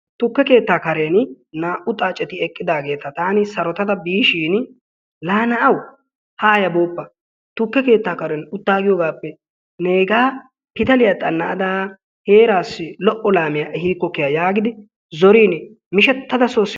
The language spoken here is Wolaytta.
Tukka keetta karen naa''u xaacceti eqqidaageeti taan sarottada biishin, la na'awu haayya booppa tukke keetta karen uttaagiyoogappe neega pitaliyaa xana'ada neegaa heeraassi lo''o laamiya ehikko giidi zorin mishettada soo simmaas.